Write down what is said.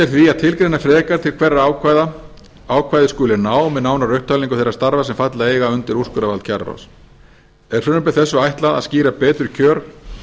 því að tilgreina frekar til hverra ákvæðið skuli ná með nánari upptalningu þeirra starfa sem falla eiga undir úrskurðarvald kjararáðs er frumvarpi þessu ætlað að skýra betur kjör